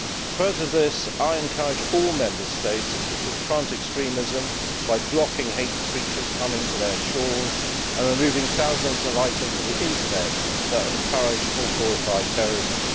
Further to this, I encourage all Member States to confront extremism by blocking hate preachers coming to their shores and by removing thousands of items from the internet that encourage or glorify terrorism.